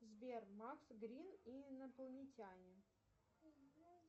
сбер макс грин и инопланетяне